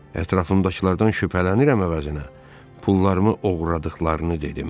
Ətrafımdakılardan şübhələnirəm əvəzinə pullarımı oğurladıqlarını dedim.